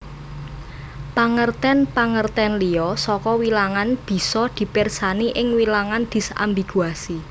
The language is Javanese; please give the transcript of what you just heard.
Pangertèn pangertèn liya saka wilangan bisa dipirsani ing Wilangan disambiguasi